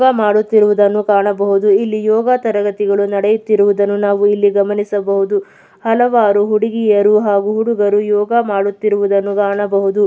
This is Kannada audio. ಯೋಗ ಮಾಡುತ್ತಿರುವುದನ್ನು ಕಾಣಬಹುದು. ಇಲ್ಲಿ ಯೋಗ ತರಗತಿಗಳು ನಡೀತಿರೋದನ್ನ ನಾವು ಇಲ್ಲಿ ಗಮನಿಸಬಹುದು. ಹಲವಾರು ಹುಡುಗಿಯರು ಹಾಗು ಹುಡುಗರು ಯೋಗ ಮಾಡುತಿರುವುದನ್ನು ಕಾಣಬಹುದು.